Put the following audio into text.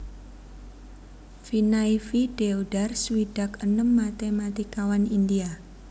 Vinay V Deodhar swidak enem matématikawan India